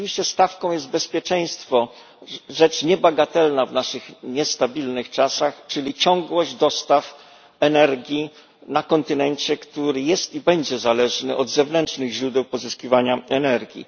Rzeczywiście stawką jest bezpieczeństwo, rzecz niebagatelna w naszych niestabilnych czasach czyli ciągłość dostaw energii na kontynencie, który jest i będzie zależny od zewnętrznych źródeł pozyskiwania energii.